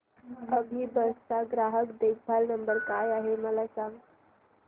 अभिबस चा ग्राहक देखभाल नंबर काय आहे मला सांगाना